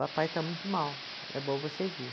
Papai está muito mal, é bom você vir.